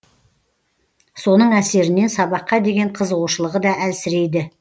соның әсерінен сабаққа деген қызығушылығы да әлсірейді